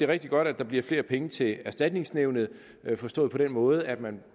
rigtig godt at der bliver flere penge til erstatningsnævnet forstået på den måde at man